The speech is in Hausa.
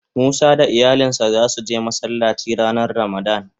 Musa da iyalin sa za su je Masallaci ranan ramadan.